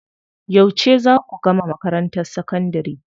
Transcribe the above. Yauce zaa ku gama makarantar sakandari?